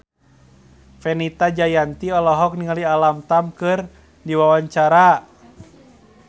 Fenita Jayanti olohok ningali Alam Tam keur diwawancara